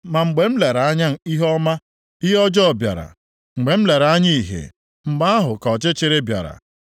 Ma mgbe m lere anya ihe ọma, ihe ọjọọ bịara; mgbe m lere anya ìhè, mgbe ahụ ka ọchịchịrị bịara.